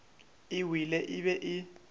e wele e be e